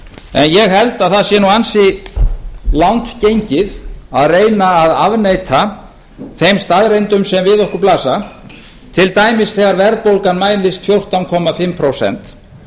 en ég held að það sé nú ansi langt gengið að reyna að afneita þeim staðreyndum sem við okkur blasa til dæmis þegar verðbólgan mælist fjórtán komma fimm prósent